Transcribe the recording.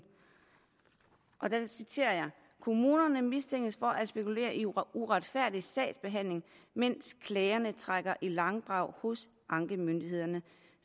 og der citerer jeg kommunerne mistænkes for at spekulere i uretfærdig sagsbehandling mens klagerne trækker i langdrag hos ankemyndighederne